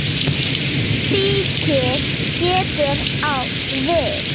Stiki getur átt við